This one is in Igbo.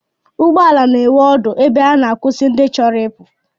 Ụgbọala na-enwe ọdụ ebe ha na-akwụsị ndị chọrọ ịpụ